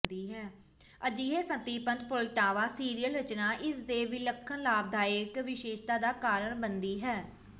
ਅਜਿਹੇ ਸੰਤ੍ਰਿਪਤ Poltava serial ਰਚਨਾ ਇਸ ਦੇ ਵਿਲੱਖਣ ਲਾਭਦਾਇਕ ਵਿਸ਼ੇਸ਼ਤਾ ਦਾ ਕਾਰਨ ਬਣਦੀ ਹੈ